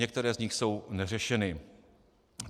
Některé z nich jsou neřešeny.